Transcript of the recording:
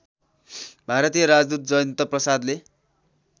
भारतीय राजदूत जयन्तप्रसादले